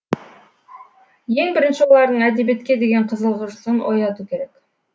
ең бірінші олардың әдебиетке деген қызығушылығын ояту керек